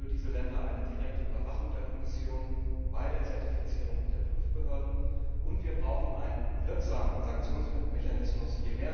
Wir fordern für diese Länder eine direkte Überwachung der Kommission bei der Zertifizierung der Prüfbehörden und wir brauchen einen wirksamen Sanktionsmechanismus.